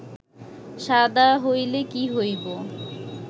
শাদা হইলে কী হইব